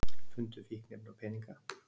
Fundu fíkniefni og peninga